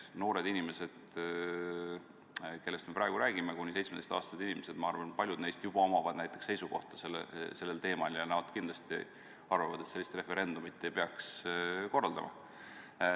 Noored inimesed, kellest me praegu räägime, kuni 17‑aastased inimesed – ma arvan, et paljudel neist on juba seisukoht sellel teemal ja nad kindlasti arvavad, et sellist referendumit ei peaks korraldama.